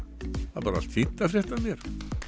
það er bara allt fínt að frétta af mér